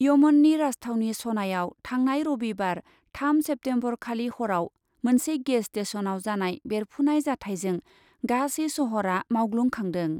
यमननि राजथावनि सनायाव थांनाय रबिबार थाम सेप्तेम्बरखालि हराव मोनसे गेस स्टेशनाव जानाय बेरफुनाय जाथायजों गासै शहरा मावग्लुंखांदों।